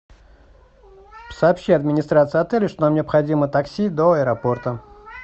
сообщи администрации отеля что нам необходимо такси до аэропорта